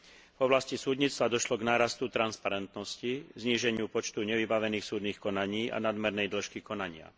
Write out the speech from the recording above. V oblasti súdnictva došlo k nárastu transparentnosti, zníženiu počtu nevybavených súdnych konaní a nadmernej dĺžky konania.